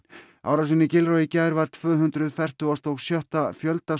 árásin í Gilroy í gær var tvö hundruð fertugasta og sjötta fjölda